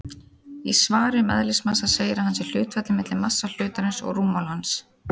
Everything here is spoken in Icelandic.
Í svari um eðlismassa segir að hann sé hlutfallið milli massa hlutarins og rúmmáls hans.